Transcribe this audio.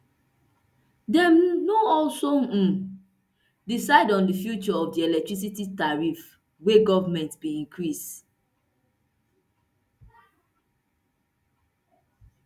dem no also um decide on di future of di electricity tariff wey goment bin increase